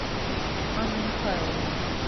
анна михайловна